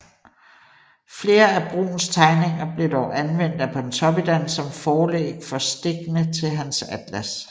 Flere af Bruuns tegninger blev dog anvendt af Pontopiddan som forlæg for stikkene til hans atlas